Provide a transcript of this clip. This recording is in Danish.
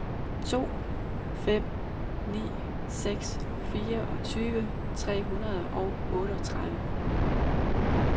to fem ni seks fireogtyve tre hundrede og otteogtredive